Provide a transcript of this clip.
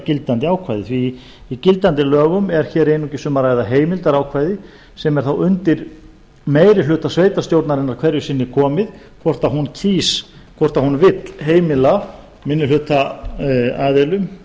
gildandi ákvæði því í gildandi lögum er einungis um að ræða heimildarákvæði sem er þá undir meiri hluta sveitarstjórnarinnar hverju sinni komið hvort hún vill heimila minnihlutaaðilum